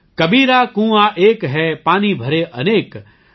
कबीरा कुआँ एक है पानी भरे अनेक |